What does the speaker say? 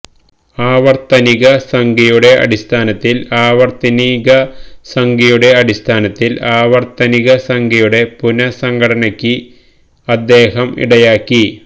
ആവർത്തനിക സംഖ്യയുടെ അടിസ്ഥാനത്തിൽ ആവർത്തനിക സംഖ്യയുടെ അടിസ്ഥാനത്തിൽ ആവർത്തനിക സംഖ്യയുടെ പുനഃസംഘടനയ്ക്ക് അദ്ദേഹം ഇടയാക്കി